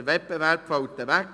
Der Wettbewerb fiele also weg.